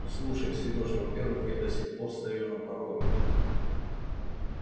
ну слушай сережа во-первых я до сих пор стою на пороге